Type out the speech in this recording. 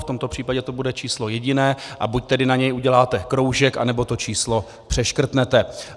V tomto případě to bude číslo jediné, a buď tedy na něj uděláte kroužek, anebo to číslo přeškrtnete.